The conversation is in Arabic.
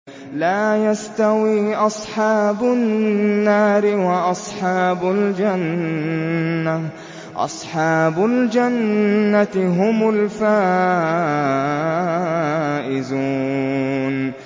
لَا يَسْتَوِي أَصْحَابُ النَّارِ وَأَصْحَابُ الْجَنَّةِ ۚ أَصْحَابُ الْجَنَّةِ هُمُ الْفَائِزُونَ